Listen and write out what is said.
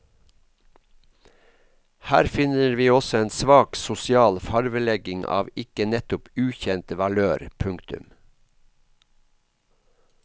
Her finner vi også en svak sosial farvelegging av ikke nettopp ukjent valør. punktum